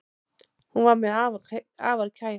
Hún var mér afar kær.